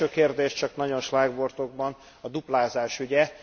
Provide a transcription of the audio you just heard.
Az első kérdés, csak nagyon schlágvortokban, a duplázás ügye.